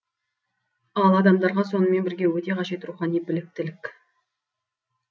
ал адамдарға сонымен бірге өте қажет рухани біліктілік